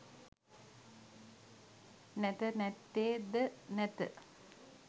නැත නැත්තේ ද නැත